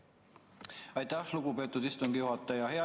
Aitäh, lugupeetud istungi juhataja!